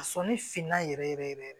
A sɔnni finna yɛrɛ yɛrɛ yɛrɛ